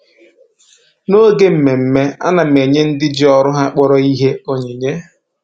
Noge mmemme, a na m enye ndị ji ọrụ ha kpọrọ ihe onyinye